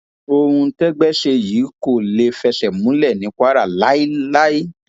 ohun tẹgbẹ ṣe yìí kò lè fẹsẹ múlẹ ní kwara láéláé